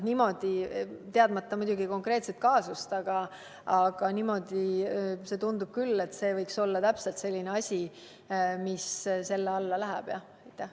Niimoodi – teadmata muidugi konkreetset kaasust – tundub küll, et see võiks olla täpselt selline asi, mis selle alla läheb.